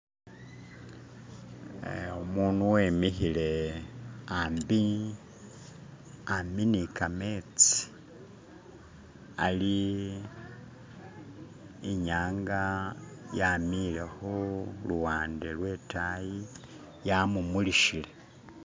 umunu wemihile ambi ni kametsi ali inyanga yamile huluwande lwetayi yamumulihile